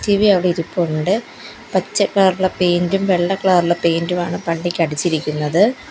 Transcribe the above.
അവിടെ ഇരുപ്പുണ്ട് പച്ച കളർ ഇലെ പെയിൻ്റും വെള്ള കളർ ഇലെ പെയിൻ്റും ആണ് പള്ളിക്ക് അടിച്ചിരിക്കുന്നത്.